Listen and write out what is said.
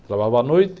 Trabalhava à noite.